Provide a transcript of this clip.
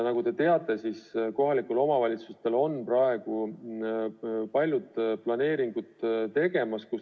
Nagu te teate, kohalikel omavalitsustel on praegu paljud planeeringud tegemisel.